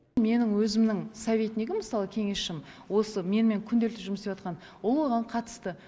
менің өзімнің советнигім мысалы кеңесшім осы менімен күнделікті жұмыс істеп жатқан ол оған қатысты